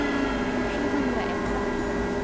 sjuhundraelva